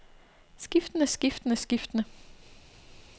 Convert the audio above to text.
skiftende skiftende skiftende